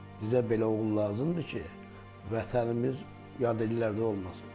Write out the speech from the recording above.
Bizə belə oğul lazımdır ki, Vətənimiz yad ellərdə olmasın.